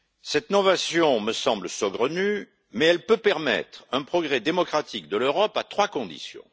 Cette innovation me semble saugrenue mais elle peut permettre un progrès démocratique de l'Europe à trois conditions.